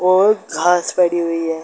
बहुत घास पड़ी हुई है।